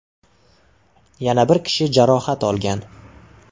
Yana bir kishi jarohat olgan.